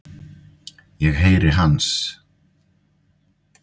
Ég heyri hans.